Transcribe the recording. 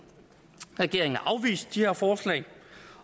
regeringen har afvist de her forslag